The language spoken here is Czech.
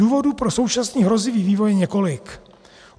Důvodů pro současný hrozivý vývoj je několik.